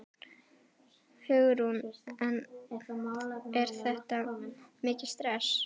Hugrún: En er þetta mikið stress?